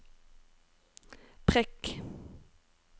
prikk